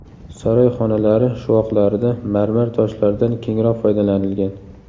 Saroy xonalari shuvoqlarida marmar toshlardan kengroq foydalanilgan.